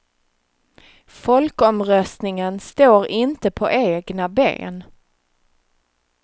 Folkomröstningen står inte på egna ben.